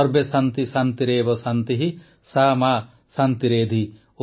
ସର୍ବେଶାନ୍ତିଃ ଶାନ୍ତିରେବ ଶାନ୍ତିଃ ସା ମା ଶାନ୍ତିରେଧି